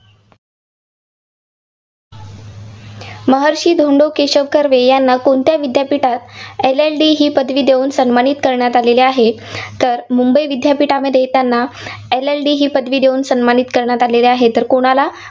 महर्षी धोंडो केशव कर्वे यांना कोणत्या विद्यापीठात LLD ही पदवी देऊन सन्मानित करण्यात आलेले आहे? तर मुंबई विद्यापीठामध्ये त्यांना LLD ही पदवी देऊन सन्मानित करण्यात आले आहे. तर कोणाला?